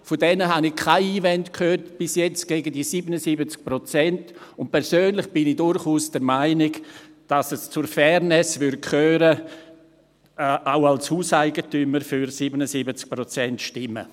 Von diesen habe ich bis jetzt keine Einwände gegen diese 77 Prozent gehört, und persönlich bin ich durchaus der Meinung, dass es zur Fairness gehören würde, auch als Hauseigentümer für 77 Prozent zu stimmen.